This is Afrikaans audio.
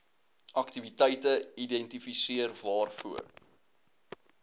aktiwiteite identifiseer waarvoor